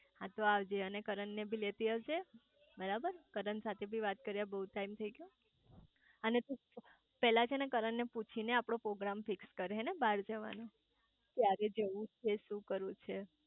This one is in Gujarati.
હા તો આવજે અને કરણ ને બી લેતી આવજે બરાબર કરણ સાથે બી વાત કરે બહુ ટાઈમ થઇ ગયો અને તું પેલા છે ને કરણ ને પૂછી ને આપડો પોગ્રામ ફિક્સ કર હેને બાર જવાનો ક્યારે જવું છે શુ કરવું છે